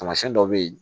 Taamasiyɛn dɔ bɛ ye